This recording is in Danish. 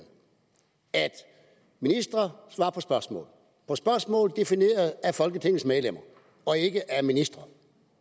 at ministre svarer på spørgsmål på spørgsmål defineret af folketingets medlemmer og ikke af ministre